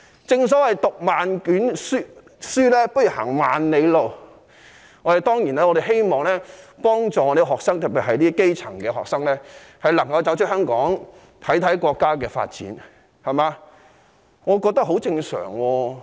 正所謂"讀萬卷書，不如行萬里路"，我們當然希望幫助學生，特別是基層學生，讓他們有機會走出香港觀察國家發展，我認為這是很正常的做法。